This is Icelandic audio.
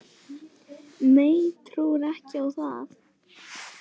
Nei, trúi ekki á það